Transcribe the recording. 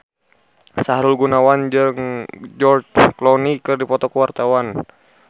Sahrul Gunawan jeung George Clooney keur dipoto ku wartawan